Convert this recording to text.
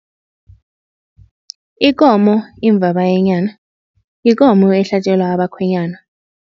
Ikomo imvabayenyana yikomo ehlatjelwa abakhwenyana.